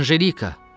Anjelika!